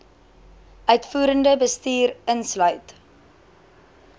uitvoerende bestuur insluit